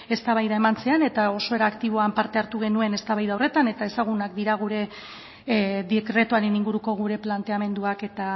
eztabaida eman zen eta oso era aktiboak parte hartu genuen eztabaida horretan eta ezagunak dira gure dekretuaren inguruko gure planteamenduak eta